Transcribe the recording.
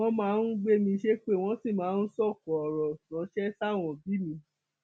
wọn máa ń gbé mi ṣépè wọn sì máa ń sọkò ọrọ ránṣẹ sáwọn òbí mi